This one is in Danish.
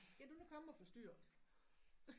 Skal du nu komme og forstyrre os